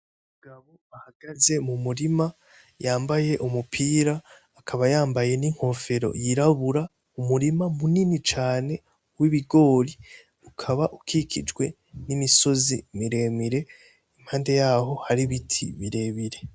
Umugabo ahagaze mumurima yambaye umupira akaba yambaye ninkofero yirabura ni umurima munini cane w'ibigori ukaba ukikijwe nimisozi miremire, impande yaho har'ibiti birebire.